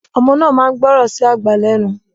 Ọmọ náà máa ń gbọ́ràn sí àgbà lẹ́nu